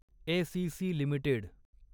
ACC limited